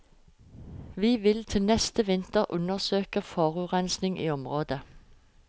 Vi vil til neste vinter undersøke forurensingen i området.